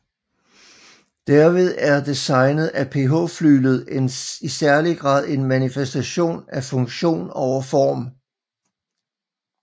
Derved er designet af PH Flyglet i særlig grad en manifestation af funktion over form